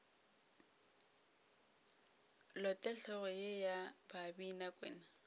lote hlogo ye ya babinakwena